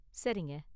சரிங்க.